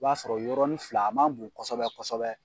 O b'a sɔrɔ yɔrɔnin fila a man bon kosɛbɛ kosɛbɛ.